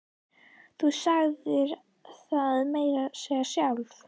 Þú sagðir það meira að segja sjálf!